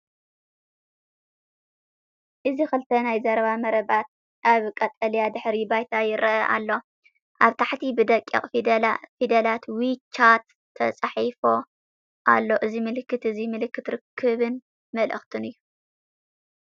እዚ ክልተ ናይ ዘረባ መረባት ኣብ ቀጠልያ ድሕረ ባይታ ይራኣዩ ኣለው። ኣብ ታሕቲ ብደቂቕ ፊደላት ‘ዊ ቻት’ ተጻሒፉ ኣሎ። እዚ ምልክት እዚ ምልክት ርክብን መልእኽትን እዩ።